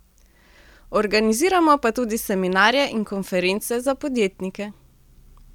Organiziramo pa tudi seminarje in konference za podjetnike.